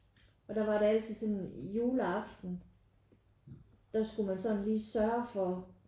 Og der var det altid sådan juleaften der skulle man sådan lige sørge for